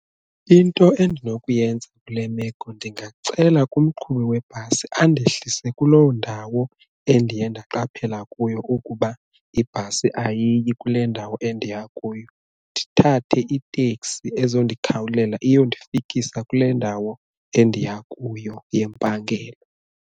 Into endinokuyenza kule meko ndingacela kumqhubi webhasi andehlise kuloo ndawo endiye ndaqaphela kuyo ukuba ibhasi ayiyi kule ndawo endiya kuyo, ndithathe itekisi ezondikhawulela iyondifikisa kule ndawo endiya kuyo yempangelo.